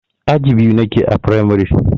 Aji biyu nake a firamare.